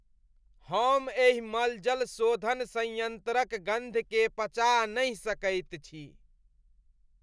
हम एहि मलजल शोधन संयन्त्रक गन्धकेँ पचा नहि सकैत छी।